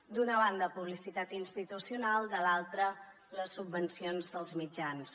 d’una banda publicitat institucional de l’altra les subvencions als mitjans